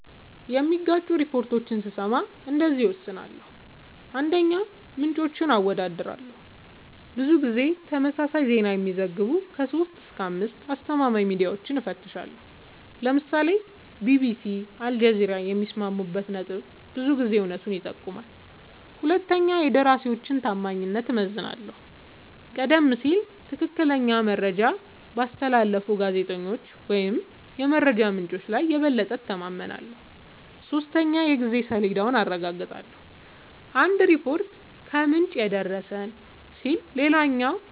የሚጋጩ ሪፖርቶችን ስሰማ እንደዚህ እወስናለሁ :- 1, ምንጮችን አወዳድራለሁ :-ብዙ ጊዜ ተመሳሳይ ዜና የሚዘግቡ 3-5አስተማማኝ ሚድያወችን እፈትሻለሁ ( ለምሳሌ ቢቢሲ አልጀዚራ )የሚስማሙበት ነጥብ ብዙ ጊዜ እውነቱን ይጠቁማል 2 የደራሲወችን ታማኝነት እመዝናለሁ :-ቀደም ሲል ትክክለኛ መረጃ ባስተላለፉ ጋዜጠኞች ወይም የመረጃ ምንጮች ላይ የበለጠ እተማመናለሁ። 3 የጊዜ ሰሌዳውን አረጋግጣለሁ :- አንድ ሪፖርት "ከምንጭ የደረሰን" ሲል ሌላኛው